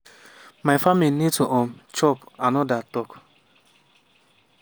my family need to um chop” anoda tok.